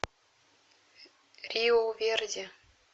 риу верди